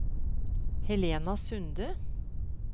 Helena Sunde